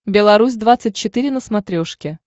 белорусь двадцать четыре на смотрешке